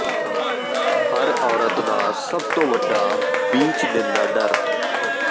ਹਰ ਔਰਤ ਦਾ ਸਭ ਤੋਂ ਵੱਡਾ ਬੀਚ ਦਿਨ ਦਾ ਡਰ